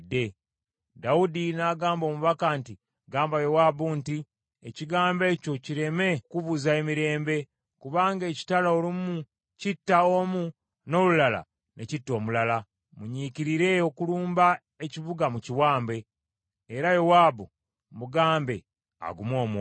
Dawudi n’agamba omubaka nti, “Ggamba Yowaabu nti, ‘Ekigambo ekyo kireme okukubuza emirembe, kubanga ekitala olumu kitta omu n’olulala ne kitta omulala. Munyiikirire okulumba ekibuga mukiwambe.’ Era Yowaabu mugambe agume omwoyo.”